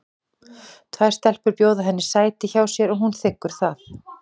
Tvær stelpur bjóða henni sæti hjá sér og hún þiggur það.